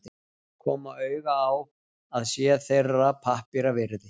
koma auga á að sé þeirra pappíra virði.